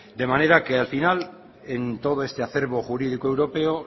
de manera que al final en todo este acervo jurídico europeo